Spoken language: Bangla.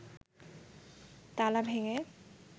তালা ভেঙে